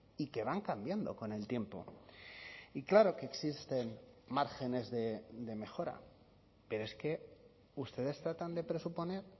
y que van cambiando con el tiempo y claro que existen márgenes de mejora pero es que ustedes tratan de presuponer